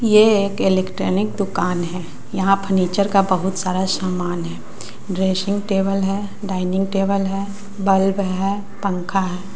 ये एक इलेक्ट्रॉनिक दुकान है यहां फर्नीचर का बहुत सारा सामान है ड्रेसिंग टेबल है डाइनिंग टेबल है बल्ब है पंखा है।